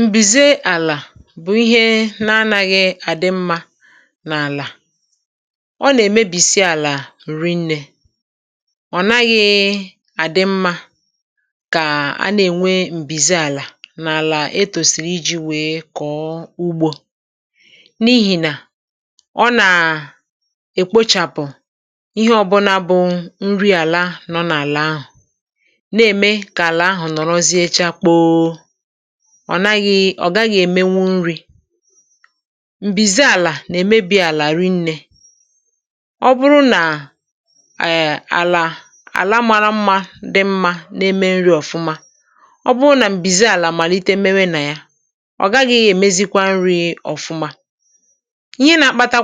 M̀bìze àlà bụ̀ ihe na-anaghị àdị̀ mma n’àlà. Ọ nà-èmebìsi àlà nri nnė, ọ̀ naghị àdị̀ mma kà a nà-ènwe m̀bìze àlà n’àlà. Etù sīrì iji̇ wèe kọ̀ọ ugbò bụ n’ihì nà ọ nà-èkpochàpụ̀ ihe ọ̀bụna bụ̀ nri àlà nọ̀ n’àlà ahụ̀. Ọ̀ naghị—ọ̀ gaghị—èmenwu nri̇. (hmm)M̀bìze àlà nà-èmebi àlà àrị nnė. Ọ bụrụ nà àyị̀ àlà àla mȧra mma, dị̀ mma, na-eme nri̇ ọ̀fụma; ọ bụrụ nà m̀bìze àlà màlite, méwé nà ya, ọ gaghị̇ gà-èmezikwa nri̇ ọ̀fụma. Ihe nà-akpata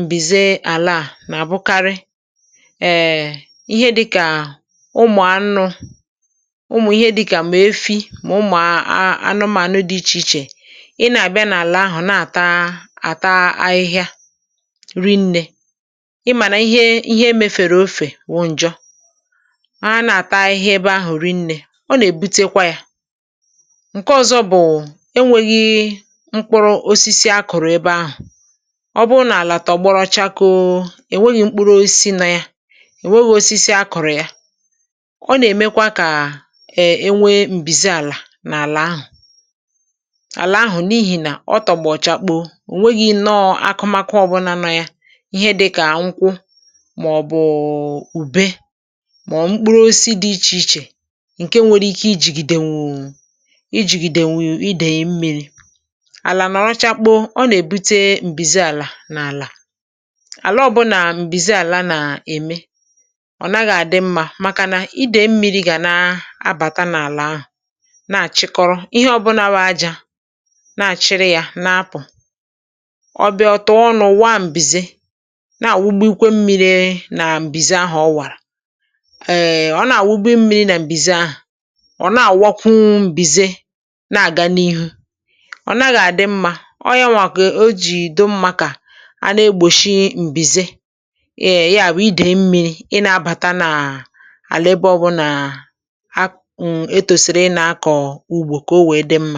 m̀bìze àlà à nà-abụkarị ihe dị̇kà ụmụ̀ anụ̇—ụmụ̀ anụmànụ dị iche iche ị nà-abịa n’àlà ahụ̀, nà-àtaàta ahịhịa, ri nnė. Ị mànà ihe emefèrè, ofè wụ̀ ǹjọ. A na-àta ihe ebe ahụ̀, ri nnė. Ọ nà-èbute kwa yà. (ehm)Ǹke ọzọ bụ̀: enwėghi̇ mkpụrụ osisi a kụ̀rụ̀ ebe ahụ̀. Ọ bụrụ n’àlà tọ̀ gboro chakòu, è nweghì mkpụrụ, ò sì na yà, è nweghì osisi a kụ̀rụ̀. Yà, ọ nà-èmekwa kà e nwee m̀bìze àlà n’ihì nà otọ̀ gbọ̀chakpòo, ò nweghì inọ̇ akụmakụ ọ̀bụla na ya: ihe dịkà àkwụkwọ, mà ọ̀ bụ̀ ùbe, mà ọ̀ bụ̀ mkpụrụ osisi dị iche iche. Ǹke nwere ike ijìgìdèwùu mmiri̇, ijìgìdèwùu idèghì mmiri̇. Àlà nọ̀rọ̀ chakpò, ọ nà-èbute m̀bìze àlà. N’àlà ọbụlà, m̀bìze àlà nà-ème, ọ̀ naghị̇ àdị mma, màkà na idèghì mmiri̇ gà na-abàta n’àlà ahụ̀, na-àchịrị yà, na-apụ̀.Ọbịa ọtụtụ ọnụ̇ wụ̀, à m̀bìze nà-àwụgbu ikwè mmiri̇. Nà m̀bìze ahụ̀ ọ wàrà, èèè, ọ na-àwụgbu mmiri̇. um Nà m̀bìze ahụ̀, ọ̀ na-àwakwu, m̀bìze nà-àga n’ihu. Ọ̀ naghị̇ àdị mma. Ọ yànwà kà o jìdo mma, kà a na-egbòshi m̀bìze. Eyà bụ̀: idè mmiri̇ ị na-abàta n’àlà ebe ọbụnà.